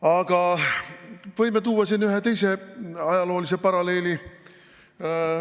Aga võime tuua siin ühe teise ajaloolise paralleeli.